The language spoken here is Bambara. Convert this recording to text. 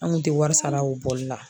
An kun tɛ wari sara o bɔli la